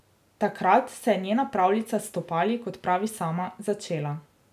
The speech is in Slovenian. Takrat se je njena pravljica s stopali, kot pravi sama, začela.